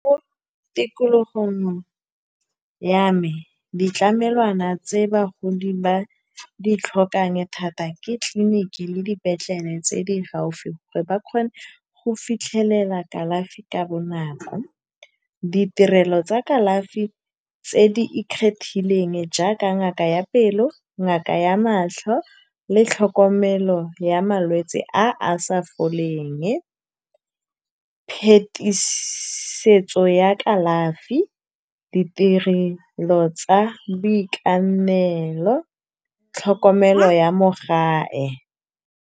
Mo tikologong ya me, ditlamelwana tse bagodi ba ditlhokang thata ke tlileniki le dipetlele tse di gaufi, gore ba kgone go fitlhelela kalafi ka bonako. Ditirelo tsa kalafi tse di ikgethileng jaaka ngaka ya pelo, ngaka ya matlho, le tlhokomelo ya malwetse a a sa foleng. Phetisetso ya kalafi, ditirelo tsa boitekanelo tlhokomelo ya mo gae.